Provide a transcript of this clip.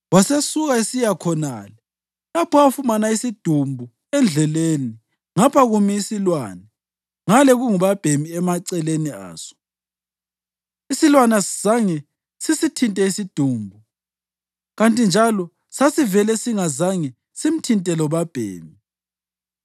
wasesuka esiya khonale lapho afumana khona isidumbu endleleni, ngapha kumi isilwane ngale kungubabhemi emaceleni aso. Isilwane asizange sisithinte isidumbu kanti njalo sasivele singazange simthinte lobabhemi.